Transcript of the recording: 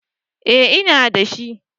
Eh ina dashi